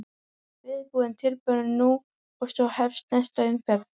Viðbúinn, tilbúinn- nú! og svo hófst næsta umferð.